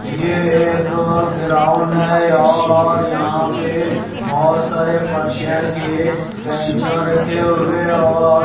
यह एक ग्राउंड है और यहां पे बहुत सारे के बैंचा रखे हुए हैं और--